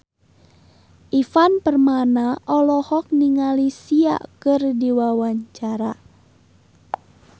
Ivan Permana olohok ningali Sia keur diwawancara